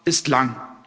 ist lang.